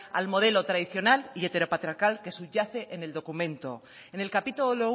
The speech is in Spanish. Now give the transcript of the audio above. al modelo tradicional y heteropatriarcal que subyace en el documento en el capítulo